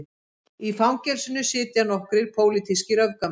Í fangelsinu sitja nokkrir pólitískir öfgamenn